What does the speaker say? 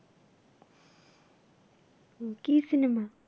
উম কী cinema?